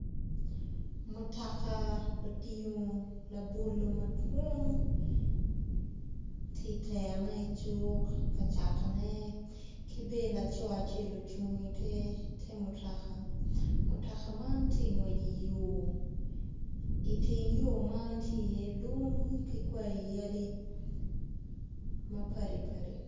Mutoka otingo labolo madwong tye iterone icuk ka catone ki bene laco acel ocung ite mutoka, mutoka man tye ka ngwec idye yor iteng ot man tye iye lum ki kwai yadi ma padi padi